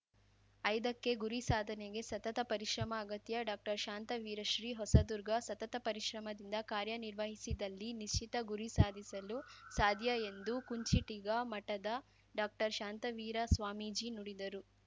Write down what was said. ಐದಕ್ಕೆಗುರಿ ಸಾಧನೆಗೆ ಸತತ ಪರಿಶ್ರಮ ಅಗತ್ಯ ಡಾಕ್ಟರ್ಶಾಂತವೀರ ಶ್ರೀ ಹೊಸದುರ್ಗ ಸತತ ಪರಿಶ್ರಮದಿಂದ ಕಾರ್ಯನಿರ್ವಹಿಸಿದಲ್ಲಿ ನಿಶ್ಚಿತ ಗುರಿ ಸಾಧಿಸಲು ಸಾಧ್ಯ ಎಂದು ಕುಂಚಿಟಿಗ ಮಠದ ಡಾಕ್ಟರ್ಶಾಂತವೀರ ಸ್ವಾಮೀಜಿ ನುಡಿದರು